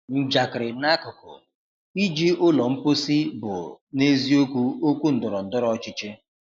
Njakịrị n’akụkụ, iji ụlọ mposi bụ na-eziokwu okwu ndọrọ ndọrọ ọchịchị.